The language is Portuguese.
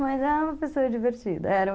Mas ela é uma pessoa divertida, era.